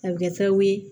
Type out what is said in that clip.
A bɛ kɛ sababu ye